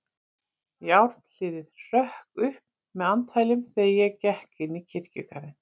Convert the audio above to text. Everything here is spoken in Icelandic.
Járnhliðið hrökk upp með andfælum, þegar ég gekk inn í kirkjugarðinn.